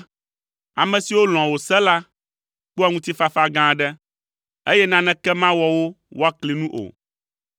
Ame siwo lɔ̃a wò se la, kpɔa ŋutifafa gã aɖe, eye naneke mawɔ wo woakli nu o.